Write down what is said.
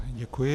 Děkuji.